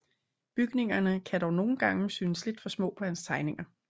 Bygningerne kan dog nogen gange synes lidt for små på hans tegninger